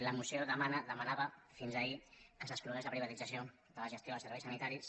la moció demana demanava fins ahir que s’exclogués la privatització de la gestió dels serveis sanitaris